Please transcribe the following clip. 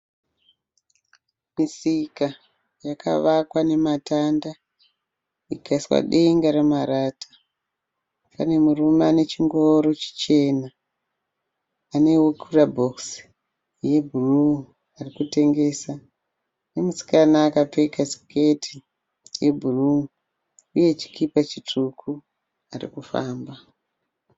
Misika yakavakwa nematanda ikaiswa denga remarata, pane murume ane chingoro chichena ane kurabhokisi rebhuruu koitawo musikana akapfeka siketi yebhuruu nechikipa chitsvuku ari kufamba.